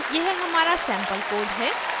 अब यह हमारा सेम्पल code है